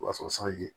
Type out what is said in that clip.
O b'a sɔrɔ sanji ye